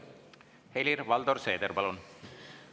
Helir‑Valdor Seeder, palun!